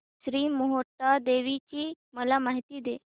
श्री मोहटादेवी ची मला माहिती दे